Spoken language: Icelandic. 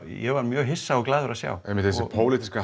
ég var mjög hissa og glaður að sjá einmitt þessi pólitíska